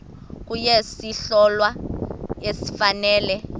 kuye isohlwayo esifanele